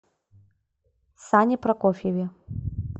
сане прокофьеве